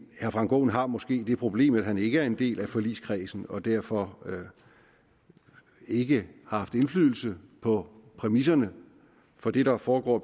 herre frank aaen har måske det problem at han ikke er en del af forligskredsen og derfor ikke har haft indflydelse på præmisserne for det der foregår